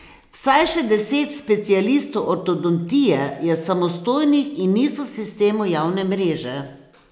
Vsaj še deset specialistov ortodontije je samostojnih in niso v sistemu javne mreže.